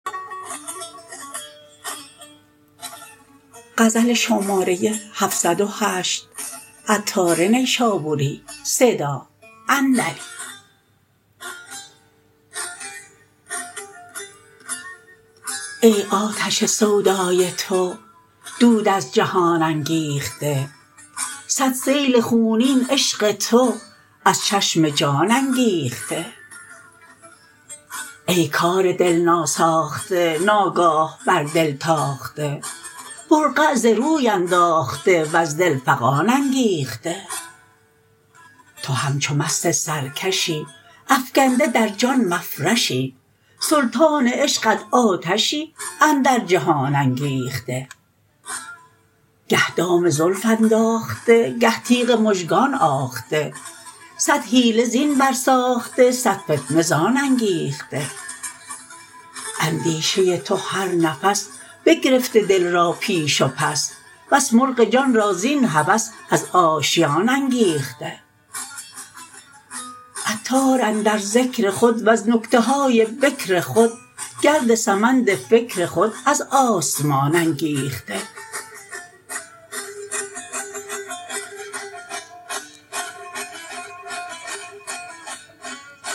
ای آتش سودای تو دود از جهان انگیخته صد سیل خونین عشق تو از چشم جان انگیخته ای کار دل ناساخته ناگاه بر دل تاخته برقع ز روی انداخته وز دل فغان انگیخته تو همچو مست سرکشی افکنده در جان مفرشی سلطان عشقت آتشی اندر جهان انگیخته گه دام زلف انداخته گه تیغ مژگان آخته صد حیله زین بر ساخته صد فتنه زان انگیخته اندیشه تو هر نفس بگرفته دل را پیش و پس بس مرغ جان را زین هوس از آشیان انگیخته عطار اندر ذکر خود وز نکته های بکر خود گرد سمند فکر خود از آسمان انگیخته